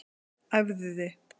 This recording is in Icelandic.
Æfðu þig